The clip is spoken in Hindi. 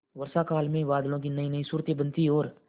वर्षाकाल में बादलों की नयीनयी सूरतें बनती और